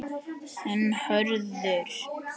Þinn Hörður.